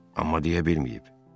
Amma deyə bilməyib.